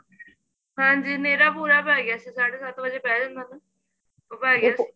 ਹਾਂਜੀ ਹਨੇਰਾ ਪੂਰਾ ਪੈ ਗਿਆ ਸੀ ਸਾਡੇ ਸੱਤ ਵਜੇ ਪੈ ਜਾਂਦਾ ਉਹ ਪੈ ਗਿਆ ਸੀ